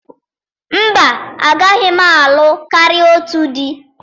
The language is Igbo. Mba, agaghị m alụ karịa otu di